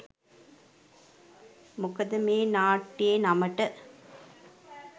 මොකද මේ නාට්‍යයේ නමට